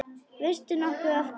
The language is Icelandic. Veistu nokkuð af hverju?